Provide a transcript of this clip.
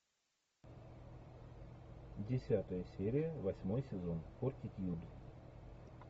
десятая серия восьмой сезон фортитьюд